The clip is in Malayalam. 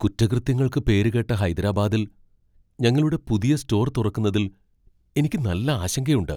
കുറ്റകൃത്യങ്ങൾക്ക് പേരുകേട്ട ഹൈദരാബാദിൽ ഞങ്ങളുടെ പുതിയ സ്റ്റോർ തുറക്കുന്നതിൽ എനിക്ക് നല്ല ആശങ്കയുണ്ട്.